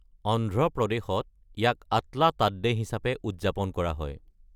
অন্ধ্ৰপ্ৰদেশত ইয়াক আটলা তাড্ডে হিচাপে উদযাপন কৰা হয়।